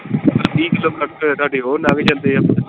ਤੀਹ ਕਿਲੋ ਤਾਡੇ ਉਹ ਨੰਘ ਜਾਂਦੇ ਆ।